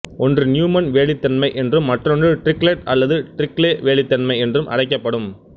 ஒன்று நியூமன் வேலித்தன்மை என்றும் மற்றொன்று டிரிக்லெட் அல்லது டிரிக்லே வேலித்தன்மை என்றும் அழைக்கப்படும்